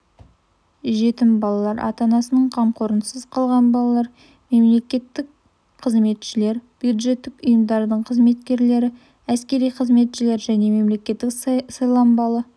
жетім балалар ата-анасының қамқорынсыз қалған балалар мемлекеттік қызметшілер бюджеттік ұйымдардың қызметкерлері әскери қызметшілер және мемлекеттік сайланбалы